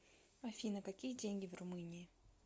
афина какие деньги в румынии